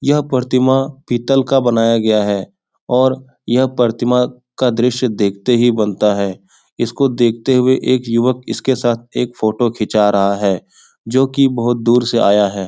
यह प्रतिमा पीतल का बनाया गया है और यह प्रतिमा का दृस्य देखते ही बनता है | इसको देखते हुए एक युवक इसके साथ एक फोटो खींचा रहा है जो की बहुत दुर से आया है ।